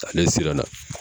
Ale siran na.